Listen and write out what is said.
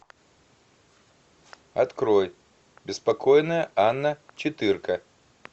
открой беспокойная анна четырка